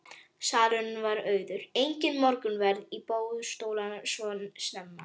Salurinn var auður, enginn morgunverður á boðstólum svo snemma.